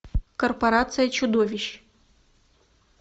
корпорация чудовищ